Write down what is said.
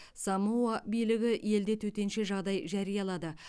самоа билігі елде төтенше жағдай жариялады